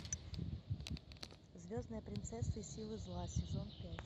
звездная принцесса и силы зла сезон пять